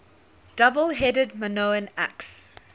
double headed minoan axe